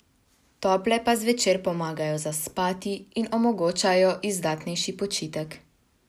Tople pa zvečer pomagajo zaspati in omogočajo izdatnejši počitek.